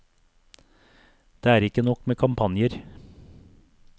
Det er ikke nok med kampanjer.